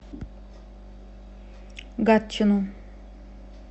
гатчину